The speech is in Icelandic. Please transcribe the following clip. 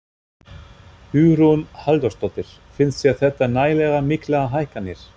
Hugrún Halldórsdóttir: Finnst þér þetta nægilega miklar hækkanir?